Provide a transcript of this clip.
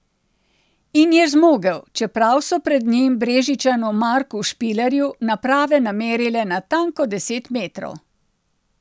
In je zmogel, čeprav so pred njim Brežičanu Marku Špilerju naprave namerile natanko deset metrov.